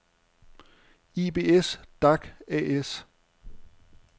Ibs-Dac A/S